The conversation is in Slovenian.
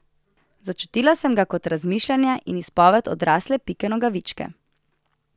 Začutila sem ga kot razmišljanje in izpoved odrasle Pike Nogavičke.